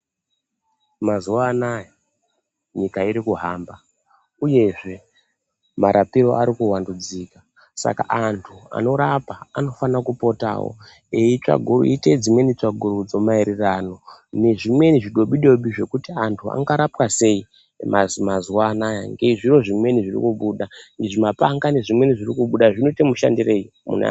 Mazuva anaya nyika iri kuhamba uyezve marapiro ari kuvandudzika. Saka marapa anofana kupotavo eiita dzimweni tsvagurudzo maererano nezvimweni zvidobi-dobi zvekuti antu angarapwa sei mazuva anaya. Ngezviro zvimweni zviri kubuda muzvimapanga nezvimweni zviri kubuda zvinote mushandirei.